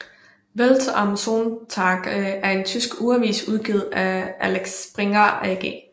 Welt am Sonntag er en tysk ugeavis udgivet af Axel Springer AG